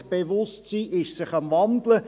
Das Bewusstsein ist sich am Wandeln.